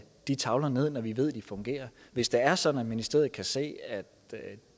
de tavler ned når vi ved de fungerer hvis det er sådan at ministeriet kan se at